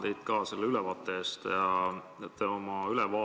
Tänan teid selle ülevaate eest!